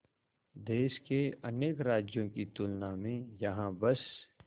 देश के अनेक राज्यों की तुलना में यहाँ बस